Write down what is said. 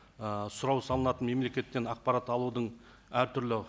ы сұрау салынатын мемлекеттен ақпарат алудың әртүрлі